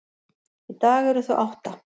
Í dag eru þau átta.